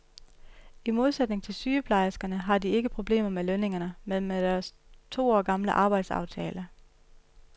I modsætning til sygeplejerskerne har de ikke problemer med lønningerne, men med deres to år gamle arbejdstidsaftale.